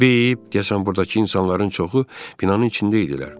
Bip, deyəsən burdakı insanların çoxu binanın içində idilər.